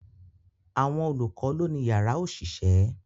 Àwọn olùkọ́ lọ́ ni yàrá òṣìṣẹ́